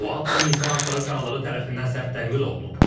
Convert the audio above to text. Bu addım insan haqları fəalları tərəfindən sərt tənqid olunub.